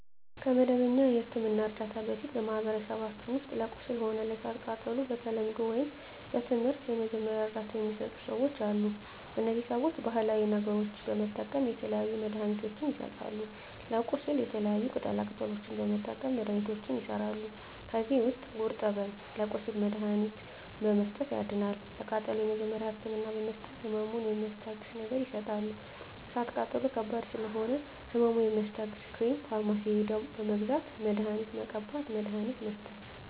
ከመደበኛ የሕክምና ዕርዳታ በፊት በማኀበረሰባችን ውስጥ ለቁስል ሆነ ለእሳት ቃጠሎው በተለምዶው ወይም በትምህርት የመጀመሪያ እርዳታ ሚሰጡ ሰዎች አሉ እነዚህ ሰዎች ባሀላዊ ነገሮች በመጠቀም የተለያዩ መድሀኒትችን ይሰጣሉ ለቁስል የተለያዩ ቅጠላ ቅጠሎችን በመጠቀም መድሀኒቶች ይሠራሉ ከዚህ ውስጥ ጉርጠብን ለቁስል መድሀኒትነት በመስጠት ያድናል ለቃጠሎ የመጀመሪያ ህክምና በመስጠት ህመሙን ሚስታግስ ነገር ይሰጣሉ እሳት ቃጠሎ ከባድ ስለሆነ ህመሙ የሚያስታግስ ክሬም ፈርማሲ ሄደው በመግዛት መድሀኒት መቀባት መድሀኒት መስጠት